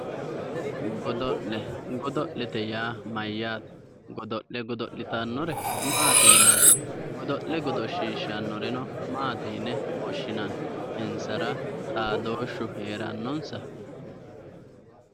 Godo'le, godo'le yaa mayate, godo'le godo'littanore maati yinnanni ,godo'le godoshishanoreno maati yinne woshshinanni ,insara xaadoshu heeranonsa"?